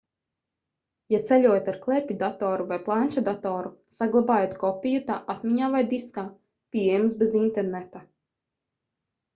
ja ceļojat ar klēpjdatoru vai planšetdatoru saglabājiet kopiju tā atmiņā vai diskā pieejams bez interneta